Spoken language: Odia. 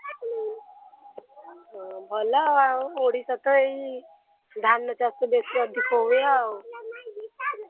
nonhumanvocal ହଁ ଭଲ ଆଉ ଓଡ଼ିଶା ତ ଏଇ ଧାନ ଚାଷ ବେଶୀ ଅଧିକ ହୁଏ ଆଉ। nonhumanvocal